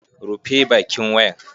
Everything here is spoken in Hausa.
Rufe bakin wayan!